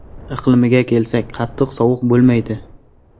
Iqlimiga kelsak, qattiq sovuq bo‘lmaydi.